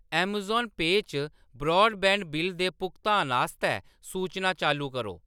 Amazon पेऽ च broadband bill दे भुगतान आस्तै सूचनां चालू करो।